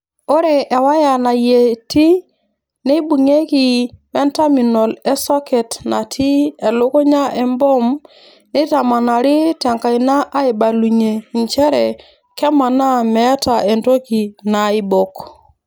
Ore ewaya nayieti neibung'ieki wentaminol esoket natii elukunya emboom neitamanari te nkaina aaibalunye nchere kemaana meeta entoki naaibok.